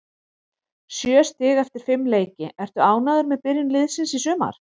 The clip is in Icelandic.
Sjö stig eftir fimm leiki, ertu ánægður með byrjun liðsins í sumar?